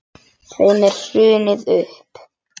Þeim er hrundið upp.